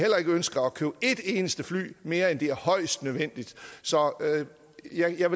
ønsker at købe et eneste fly mere end det er højst nødvendigt så jeg kan